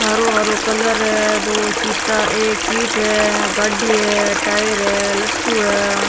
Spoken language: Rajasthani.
हरो हरो कलर है दो सीट एक सीट है गाड़ी है टायर है लट्टू है।